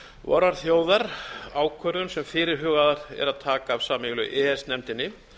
vorrar þjóðar ákvörðun sem fyrirhugað er að taka af sameiginlegu e e s nefndinni